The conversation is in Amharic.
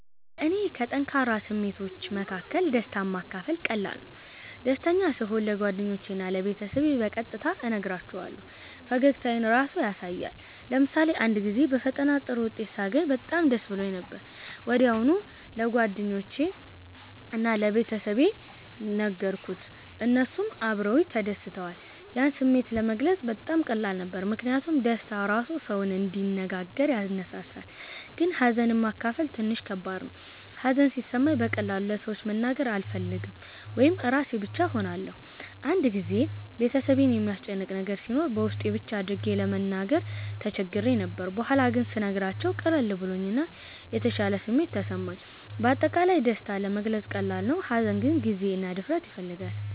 ለእኔ ከጠንካራ ስሜቶች መካከል ደስታን ማካፈል ቀላል ነው። ደስተኛ ስሆን ለጓደኞቼ እና ለቤተሰቤ በቀጥታ እነግራቸዋለሁ፣ ፈገግታዬም ራሱ ያሳያል። ለምሳሌ አንድ ጊዜ በፈተና ጥሩ ውጤት ሳገኝ በጣም ደስ ብሎኝ ነበር። ወዲያው ለጓደኞቼ እና ለቤተሰቤ ነገርኩት፣ እነሱም አብረውኝ ተደስተዋል። ያን ስሜት ለመግለጽ በጣም ቀላል ነበር ምክንያቱም ደስታ ራሱ ሰውን እንዲነጋገር ያነሳሳል። ግን ሀዘንን ማካፈል ትንሽ ከባድ ነው። ሀዘን ሲሰማኝ በቀላሉ ለሰዎች መናገር አልፈልግም ወይም ራሴን ብቻ እሆናለሁ። አንድ ጊዜ ቤተሰቤን የሚያስጨንቅ ነገር ሲኖር በውስጤ ብቻ አድርጌ ለመናገር ተቸግሬ ነበር። በኋላ ግን ስነግራቸው ቀለል ብሎኝ እና የተሻለ ስሜት ተሰማኝ። በአጠቃላይ ደስታ ለመግለጽ ቀላል ነው፣ ሀዘን ግን ጊዜ እና ድፍረት ይፈልጋል።